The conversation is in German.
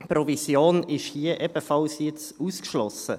Provision ist hier jetzt ebenfalls ausgeschlossen.